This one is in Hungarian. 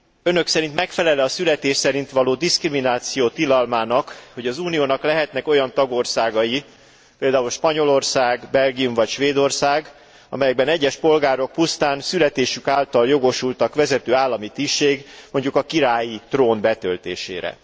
Önök szerint megfelel e a születés szerint való diszkrimináció tilalmának, hogy az Uniónak lehetnek olyan tagországai, például Spanyolország, Belgium vagy Svédország, amelyekben egyes polgárok pusztán születésük által jogosultak vezető állami tisztség, mondjuk a királyi trón betöltésére?